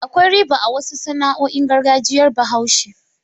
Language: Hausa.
Akwai riba a wasu sana'o'in gargajiyar Bahaushe.